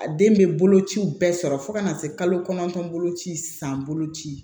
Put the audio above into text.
A den bɛ bolo ciw bɛɛ sɔrɔ fo ka na se kalo kɔnɔntɔn boloci san boloci